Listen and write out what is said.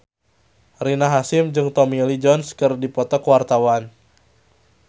Rina Hasyim jeung Tommy Lee Jones keur dipoto ku wartawan